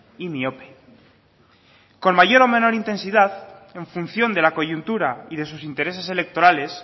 y miope con mayor o menor intensidad en función de la coyuntura y de sus intereses electorales